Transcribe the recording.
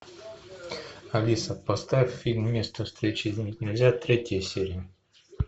алиса поставь фильм место встречи изменить нельзя третья серия